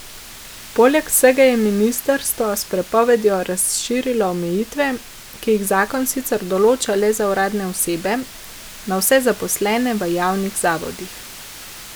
Poleg vsega je ministrstvo s prepovedjo razširilo omejitve, ki jih zakon sicer določa le za uradne osebe, na vse zaposlene v javnih zavodih.